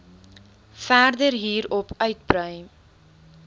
verder hierop uitbrei